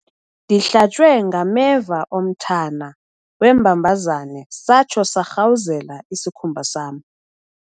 Ndihlatywe ngameva omthana wembambazane satsho sarhawuzela isikhumba sam.